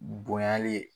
Bonyali ye